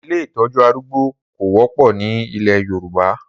Ilé ìtọ́jú arúgbó kò wọ́pọ̀ ni ilẹ̀ Yorùbá.